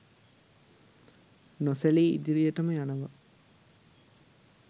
නොසැලී ඉදිරියටම යනවා.